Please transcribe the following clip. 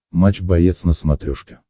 матч боец на смотрешке